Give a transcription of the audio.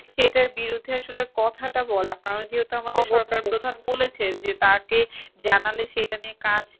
এটার বিরুদ্ধে আসলে কথাট বলা কারণ যেহেতু আমাদের সরকার প্রধান বলেছেন যে তাঁকে জানালে সে এটা নিয়ে কাজ